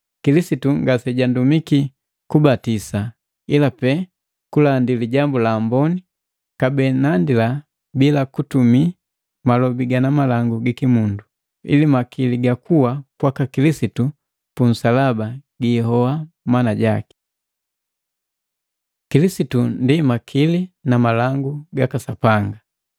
Kilisitu ngasejandumiki kubatisa, ila pee kulandi Lijambu la Amboni, kabee nandila bila kutumia malobi gana malangu gikimundu, ili makili ga kuwa kwaka Kilisitu punsalaba giihoa mana jaki. Kilisitu ndi makili na malangu gaka Sapanga